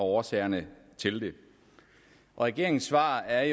og årsagerne til det og regeringens svar er